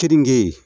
Keninge